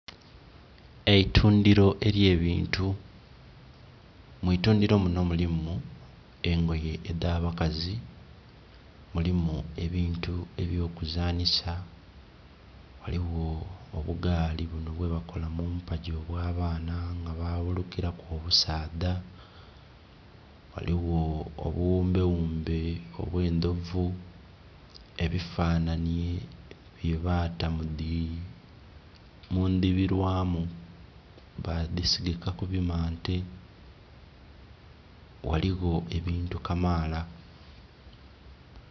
Eitundhiro ely'ebintu. mu itundhiro muno mulimu engoye edh'abakazi, mulimu ebintu eby'okuzanhisa, ghaligho obugaali buno bwe bakola mumpagi obwa baana nga babulukilaku obusaadha, ghaligho obughumbe ghumbe obw'endhovu, ebifananye bye bata mu ndhibirwamu ba dhisigika ku bimante ghaligho ebintu kamaala.